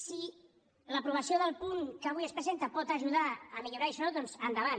si l’aprovació del punt que avui es presenta pot ajudar a millorar això doncs endavant